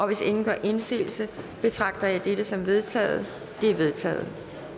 hvis ingen gør indsigelse betragter jeg dette som vedtaget det er vedtaget